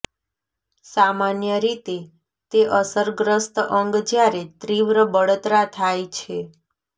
સામાન્ય રીતે તે અસરગ્રસ્ત અંગ જ્યારે તીવ્ર બળતરા થાય છે